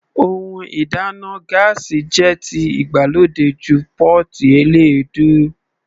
Ohun ìdáná gáásì jẹ́ ti ìgbàlódé ju pọ́ọ́tì eléèdú.